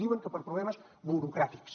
diuen que per problemes burocràtics